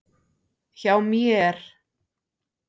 Hjá mér.